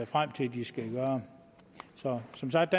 frem til at skulle gøre så som sagt